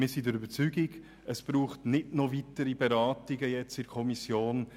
Wir sind der Überzeugung, es bedürfe keiner weiteren Beratungen in der Kommission.